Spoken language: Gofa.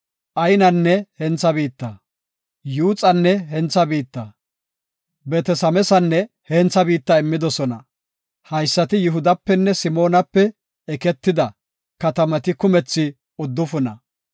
Aynanne hentha biitta, Yuuxanne hentha biitta, Beet-Sameesanne hentha biitta. Haysati Yihudapenne Simoonape eketida, katamati kumethi uddufuna.